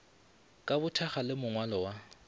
ka bothakga le mongwalo wa